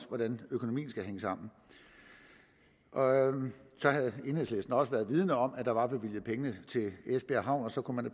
hvordan økonomien skal hænge sammen og så havde enhedslisten også været vidende om at der var bevilget penge til esbjerg havn og så kunne man